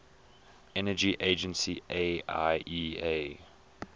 energy agency iaea